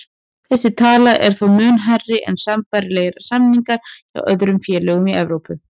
Þessi tala er þó mun hærri en sambærilegir samningar hjá öðrum félögum í Evrópu.